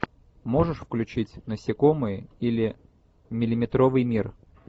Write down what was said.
можешь включить насекомые или миллиметровый мир